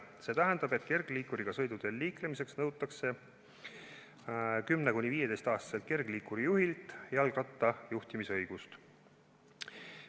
See tähendab, et kergliikuriga sõiduteel liikumiseks nõutakse 10–15-aastaselt kergliikurijuhilt jalgrattajuhtimise õigust.